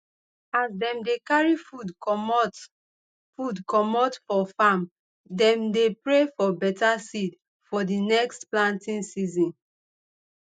as dem dey carry food comot food comot for farm dem dey pray for better seed for d next planting season